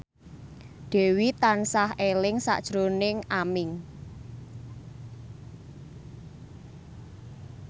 Dewi tansah eling sakjroning Aming